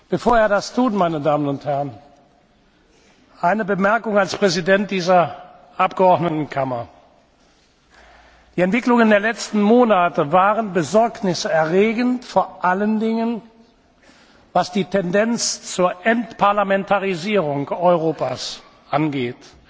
Bevor er das tut, eine Bemerkung als Präsident dieser Abgeordnetenkammer Die Entwicklungen der letzten Monate waren besorgniserregend, vor allen Dingen, was die Tendenz zur Entparlamentarisierung Europas angeht.